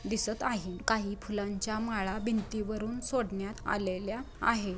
दिसत आहे काही फुलांच्या माळा भिंतीवरून सोडण्यात आलेल्या आहे.